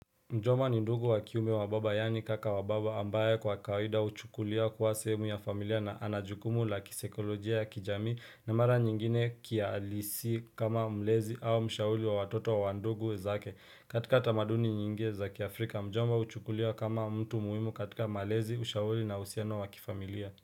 Mjomba ni ndugu wa kiume wa baba yani kaka wa baba ambaye kwa kawaida huchukulia kuwa sehemu ya familia na ana jukumu la kisaikolojia ya kijamii na mara nyingine kihalisi kama mlezi au mshauri wa watoto wa wa ndugu zake. Katika tamaduni nyingi za kiafrika, mjomba huchukuliwa kama mtu muhimu katika malezi, ushauri na uhusiano wa kifamilia.